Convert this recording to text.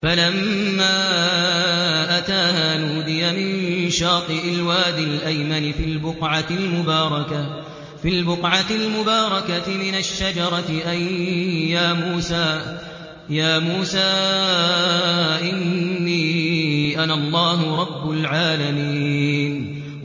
فَلَمَّا أَتَاهَا نُودِيَ مِن شَاطِئِ الْوَادِ الْأَيْمَنِ فِي الْبُقْعَةِ الْمُبَارَكَةِ مِنَ الشَّجَرَةِ أَن يَا مُوسَىٰ إِنِّي أَنَا اللَّهُ رَبُّ الْعَالَمِينَ